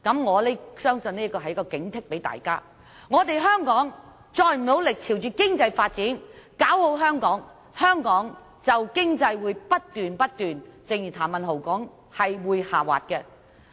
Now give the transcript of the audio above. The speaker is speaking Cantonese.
我相信這是警惕大家，如果香港再不努力專注經濟發展，搞好香港，香港經濟便會如譚文豪議員所說不斷下滑。